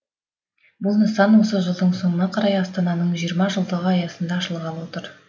бұл нысан осы жылдың соңына қарай астананың жиырма жылдығы аясында ашылғалы отыр